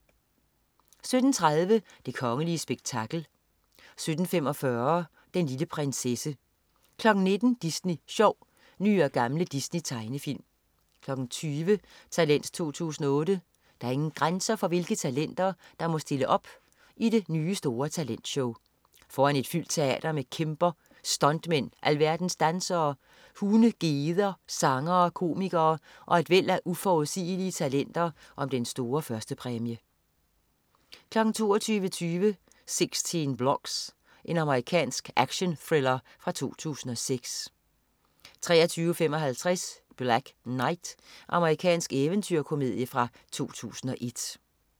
17.30 Det kongelige spektakel 17.45 Den lille prinsesse 19.00 Disney Sjov. Nye og gamle Disney-tegnefilm 20.00 Talent 2008. Der er ingen grænser for, hvilke talenter der må stille op i det nye store talentshow. Foran et fyldt teater kæmper stuntmænd, alverdens dansere, hunde, geder, sangere, komikere og et væld af uforudsigelige talenter om den store førstepræmie 22.20 16 Blocks. Amerikansk actionthriller fra 2006 23.55 Black Knight. Amerikansk eventyrkomedie fra 2001